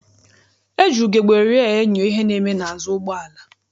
E ji ugegbe rịa enyo ihe na-eme n'azụ ụgbọala.